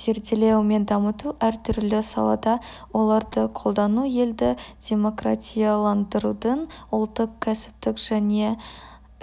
зерделеу мен дамыту әртүрлі салада оларды қолдану елді демократияландырудың ұлттық кәсіптік және